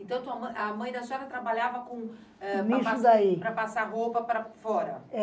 Então, tua mãe, a mãe da senhora trabalhava com, eh, para passar roupa para fora?